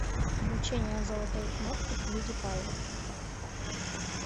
вручение золотой кнопки пьюдипаю